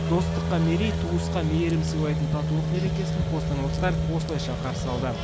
достыққа мерей туысқа мейірім сыйлайтын татулық мерекесін қостанайлықтар осылайша қарсы алды